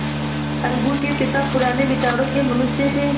अलगू के पिता पुराने विचारों के मनुष्य थे